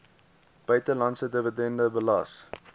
buitelandse dividend belas